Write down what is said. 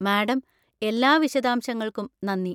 Madam, എല്ലാ വിശദാംശങ്ങൾക്കും നന്ദി.